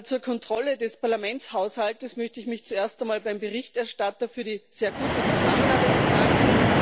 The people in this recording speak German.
Zur Kontrolle des Parlamentshaushaltes möchte ich mich zuerst einmal beim Berichterstatter für die sehr gute Zusammenarbeit bedanken.